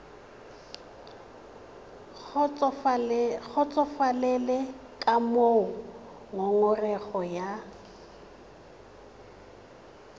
kgotsofalele ka moo ngongorego ya